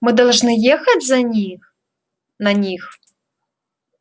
мы должны ехать за них на них